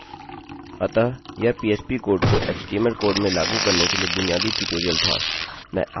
अतः यह phpपीएचपी कोड को htmlएचटीएमएलकोड में लागू करने के लिए बुनियादी ट्यूटोरियल था